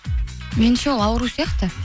меніңше ол ауру сияқты